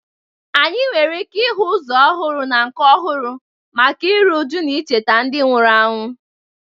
Anyị nwere ike ịhụ ụzọ ọhụrụ na nke ọhụrụ maka iru újú na icheta ndị nwụrụ anwụ